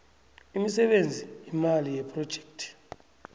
imisebenzi imali yephrojekhthi